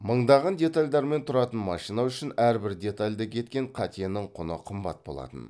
мыңдаған детальдардан тұратын машина үшін әрбір детальда кеткен қатенің құны қымбат болатын